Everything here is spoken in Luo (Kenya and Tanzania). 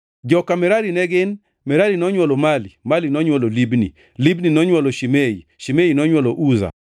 Joka Merari ne gin: Merari nonywolo Mali, Mali nonywolo Libni, Libni nonywolo Shimei, Shimei nonywolo Uza